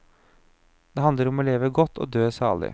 Det handler om å leve godt og dø salig.